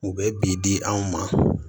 U bɛ bi di anw ma